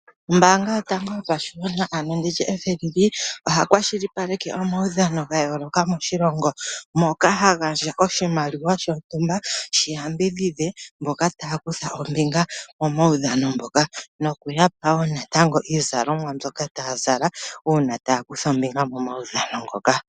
Ombaanga yotango yopashigwana, ano FNB oha kwashilipaleke omaudhano ga yooloka moshilongo, moka ha gandja oshimaliwa shomwaalu gontumba shi yambidhidhe mboka taa kutha ombinga momaudhano ngoka nokuya pa wo iizalomwa mbyoka taa zala uuna taya kutha ombinga momaudhano ngoka.